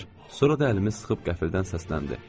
Sonra da əlimi sıxıb qəfildən səsləndi: